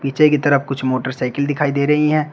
पीछे की तरफ कुछ मोटरसाइकिल दिखाई दे रही हैं।